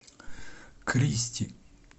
кристи